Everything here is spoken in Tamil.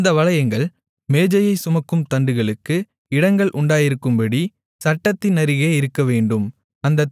அந்த வளையங்கள் மேஜையைச் சுமக்கும் தண்டுகளுக்கு இடங்கள் உண்டாயிருக்கும்படி சட்டத்தின் அருகே இருக்கவேண்டும்